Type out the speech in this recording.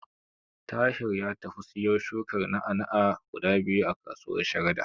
Tahir ya tafi ya siyo shukar na'a-na'a guda biyu a kasuwar Sharada.